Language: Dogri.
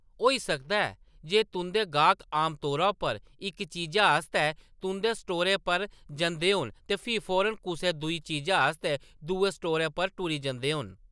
होई सकदा ऐ जे तुंʼदे गाह्‌‌क आमतौरा पर इक चीजै आस्तै तुंʼदे स्टोरै पर जंदे होन ते फ्ही फौरन कुसै दूई चीजै आस्तै दुए स्टोरै पर टुरी जंदे होन।